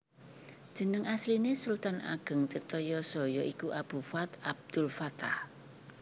Jeneng asline Sultan Ageng Tirtayasa ya iku Abu Fath Abdulfattah